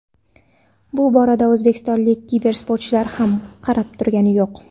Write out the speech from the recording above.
Bu borada o‘zbekistonlik kibersportchilar ham qarab turgani yo‘q.